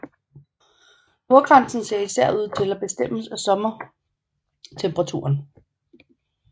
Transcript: Nordgrænsen ser især ud til at bestemmes af sommertemperaturen